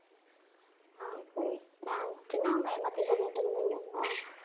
ஆஹ் சரி நான் சின்ன வெங்காயம் பத்தி சொல்லிட்டு இருந்தீங்க இல்ல